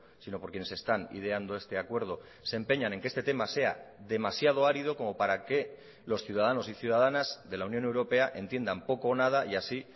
sino por quienes están ideando este acuerdo se empeñan en que este tema sea demasiado árido como para que los ciudadanos y ciudadanas de la unión europea entiendan poco o nada y así